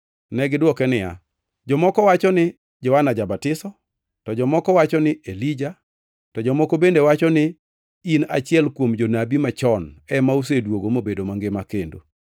Negidwoke niya, “Jomoko wacho ni in Johana ja-Batiso, to jomoko wacho ni in Elija to jomoko bende wacho ni in achiel kuom jonabi machon ema osedwogo mobedo mangima kendo.”